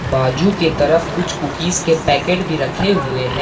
बाजू की तरफ कुछ कुकीज के पैकेट भी रखे हुए हैं।